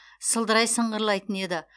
сылдырай сыңғырлайтын еді